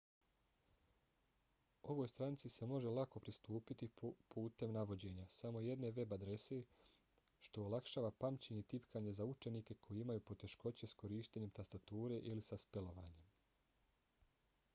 ovoj stranici se može lako pristupiti putem navođenja samo jedne web-adrese što olakšava pamćenje i tipkanje za učenike koji imaju poteškoće s korištenjem tastature ili sa spelovanjem